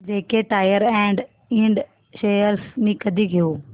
JK tyre and ind shares मी कधी घेऊ